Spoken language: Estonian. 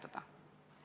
Aitäh!